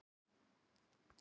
Snæfellsnes norðan fjalla.